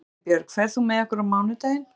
Elínbjörg, ferð þú með okkur á mánudaginn?